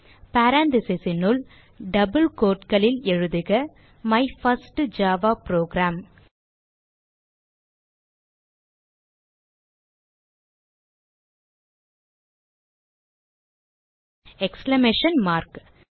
parentheses னுள் double quote களில் எழுதுக my first Java program exclamation mark